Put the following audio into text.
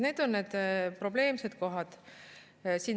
Need on probleemid.